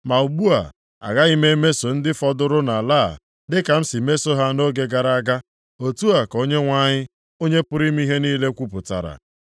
Ma ugbu a, agaghị m emeso ndị fọdụrụ nʼala a, dịka m si meso ha nʼoge gara aga.” Otu a ka Onyenwe anyị, Onye pụrụ ime ihe niile kwupụtara.